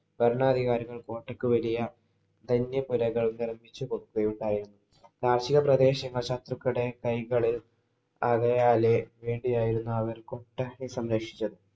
ഭരണാധികാരികള്‍ കോട്ടയ്ക്കു വലിയ ധന്യപ്പുരകള്‍ നിര്‍മ്മിച്ചു കൊടുക്കുകയുണ്ടായി. കാര്‍ഷികപ്രദേശങ്ങള്‍ ശത്രുക്കളുടെ കൈകളില്‍ വേണ്ടിയാരുന്നു അവര്‍ കോട്ട കെട്ടി സംരക്ഷിച്ചത്.